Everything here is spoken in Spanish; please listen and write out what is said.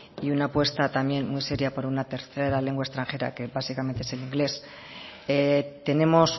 y una apuesta también muy seria por una tercera lengua extranjera que básicamente es el inglés tenemos